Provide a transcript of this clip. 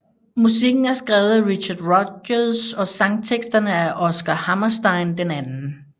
Musikken er skrevet af Richard Rodgers og sangteksterne af Oscar Hammerstein II